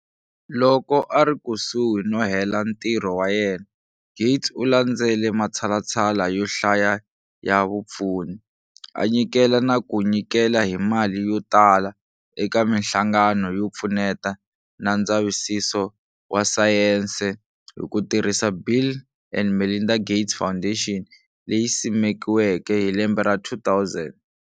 Loko a ri kusuhi no hela ntirho wa yena, Gates u landzele matshalatshala yo hlaya ya vupfuni, a nyikela na ku nyikela hi mali yo tala eka minhlangano yo pfuneta na ndzavisiso wa sayense hi ku tirhisa Bill and Melinda Gates Foundation, leyi simekiweke hi lembe ra 2000.